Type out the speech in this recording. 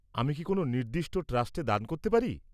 -আমি কি কোন নির্দিষ্ট ট্রাস্টে দান করতে পারি?